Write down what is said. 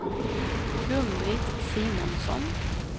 Gun-Britt Simonsson